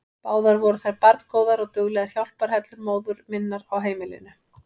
Báðar voru þær barngóðar og duglegar hjálparhellur móður minnar á heimilinu.